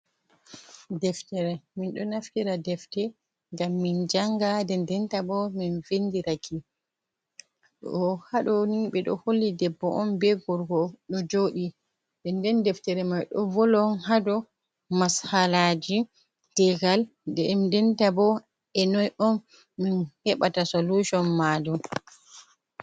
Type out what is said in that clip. Deftere min ɗo naftira defte ngam min janga nden denta bo min vindiraki, ɗo haɗoni ɓeɗo holli debbo on be gorko ɗo joɗi nden nden deftere mai ɗo volon hadow mashalaji tegal nden denta bo e noi on min heɓata solushon majum.